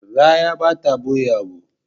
Raya ba ta ɓoye abu.